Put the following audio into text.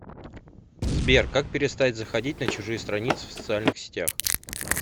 сбер как перестать заходить на чужие страницы в социальных сетях